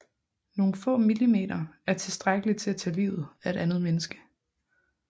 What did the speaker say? Nogen få milliliter er tilstrækkelig til at tage livet af et menneske